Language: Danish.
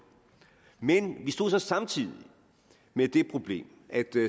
men vi stod så samtidig med det problem at